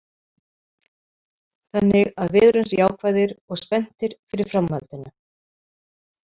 Þannig að við erum jákvæðir og spenntir fyrir framhaldinu.